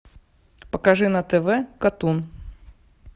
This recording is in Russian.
покажи на тв катун